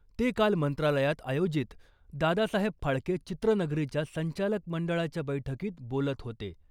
ते काल मंत्रालयात आयोजित दादासाहेब फाळके चित्रनगरीच्या संचालक मंडळाच्या बैठकीत बोलत होते .